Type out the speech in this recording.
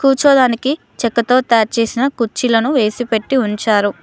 కూర్చోదానికి చెక్కతో తయారు చేసిన కుర్చీలను వేసిపెట్టి ఉంచారు.